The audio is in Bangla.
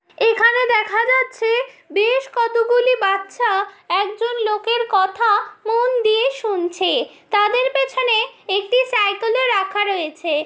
এখানে দেখা যাচ্ছে বেশ কতগুলি বাচ্চা একজন লোকের কথা মন দিয়ে শুনছে তাদের পেছনে একটি সাইকেল -ও রাখা রয়েছে।